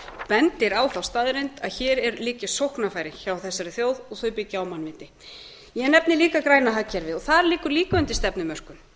bendir á þá staðreynd að hér eru lítil sóknarfæri hjá þessari þjóð og þau byggja á mannlífi ég nefni líka græna hagkerfið og og það liggur líka undir stefnumörkun